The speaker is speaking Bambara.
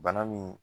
Bana min